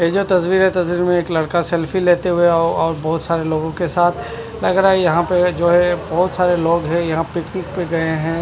ये जो तस्वीर है तस्वीर में लड़का सेल्फी हुए और और बहोत सारे लोगो के साथ लग रहा है यहा पे जो है बहोत सारे लोग है जो पिकनिक पे गये है।